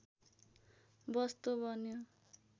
वस्तु बन्यो